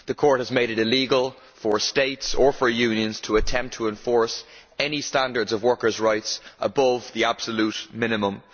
The Court has made it illegal for states or for unions to attempt to enforce any standards of workersʼ rights above the absolute minimum.